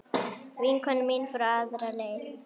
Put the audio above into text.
Vinkona mín fór aðra leið.